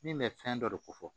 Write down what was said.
Min bɛ fɛn dɔ de ko fɔ